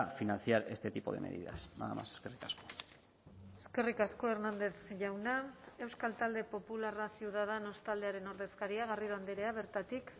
financiar este tipo de medidas nada más eskerrik asko eskerrik asko hernández jauna euskal talde popularra ciudadanos taldearen ordezkaria garrido andrea bertatik